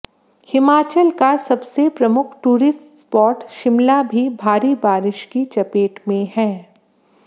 हिमाचल का सबसे प्रमुख टूरिस्ट स्पॉट शिमला भी भारी बारिश की चपेट में है